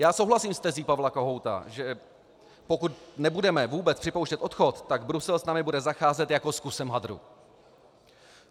Já souhlasím s tezí Pavla Kohouta, že pokud nebudeme vůbec připouštět odchod, tak Brusel s námi bude zacházet jako s kusem hadru.